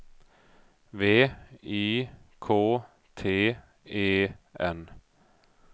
V I K T E N